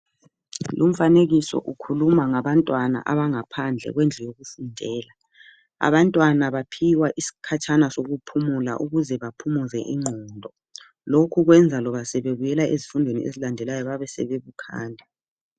lumfanekiso ukhuluma ngabantwana abangaphandle kwendlu yokufundela abantwana baphiwa isikhatshana sokuphumula ukuze baphumuze ingqondo lokhu kwenza loba sebebuyela ezifundweni ezilandela babe sebebukhali